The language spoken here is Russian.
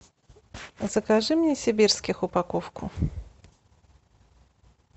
закажи мне сибирских упаковку